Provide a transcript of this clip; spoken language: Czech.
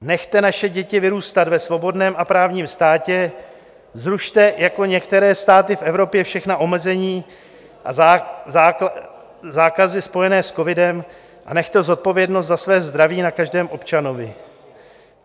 Nechte naše děti vyrůstat ve svobodném a právním státě, zrušte, jako některé státy v Evropě, všechna omezení a zákazy spojené s covidem a nechte zodpovědnost za své zdraví na každém občanovi.